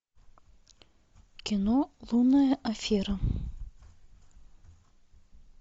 кино лунная афера